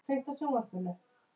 Förum í bíó.